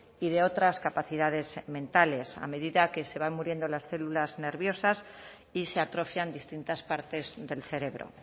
y de otras capacidades mentales a medida que se van muriendo las células nerviosas y se atrofian distintas partes del cerebro